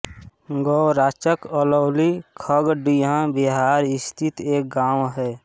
गौराचक अलौली खगड़िया बिहार स्थित एक गाँव है